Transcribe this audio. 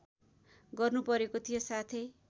गर्नुपरेको थियो साथै